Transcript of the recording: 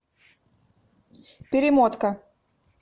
перемотка